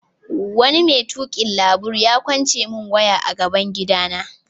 Wani mai tukin labur ya kwace mun waya a gaban gida na.